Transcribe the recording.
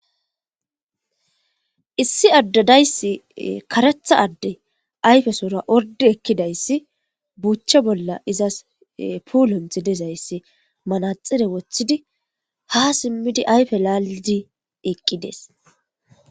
Issi addadayssi karetha adde ayfesoora orde ekkidayssi buuchche bolla izas puulonthi dezayssi manaxire wothidi ha simmidi ayfe laalidi eqqides